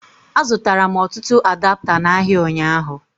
A zụtara m ọtụtụ adapta n'ahịa ụnyaahụ